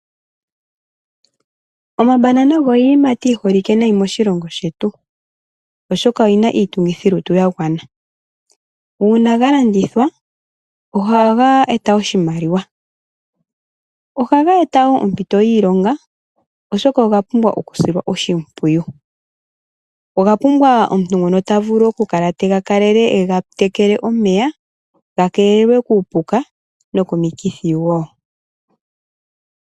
Omambanana ogo iiyimati yi holike nayi moshilongo shetu, oshoka oyi na iitungithilutu ya gwana. Uuna ga landithwa, ohaga eta oshimaliwa. Ohaga eta ao ompito yiilonga, oshoka oga pumbwa okusilwa oshimpwiyu. Oga pumbwa omuntu ngoka ta vulu okukala yevga kalele e ga tekele omeya, ga keelelwe kuupuka nokomikithi wo.